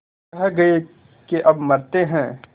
कह गये के अब मरते हैं